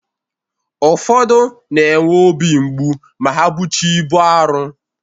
Ụfodu na-enwe ọbi mgbụ ma ha bụcha ịbu arọ.